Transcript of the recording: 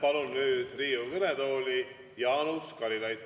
Ma palun nüüd Riigikogu kõnetooli Jaanus Karilaidi.